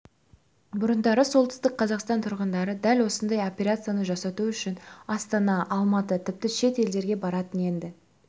бұрындары солтүстік қазақстан тұрғындары дәл осындай операцияны жасату үшін астана алматы тіпті шет елдерге баратын енді